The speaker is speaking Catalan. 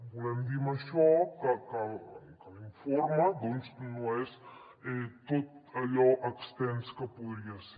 volem dir amb això que l’informe doncs no és tot allò extens que podria ser